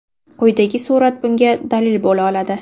Quyidagi surat bunga dalil bo‘la oladi.